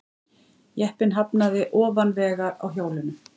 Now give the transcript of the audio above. Jeppinn hafnaði ofan vegar á hjólunum